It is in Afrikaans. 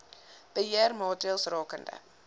beheer maatreëls rakende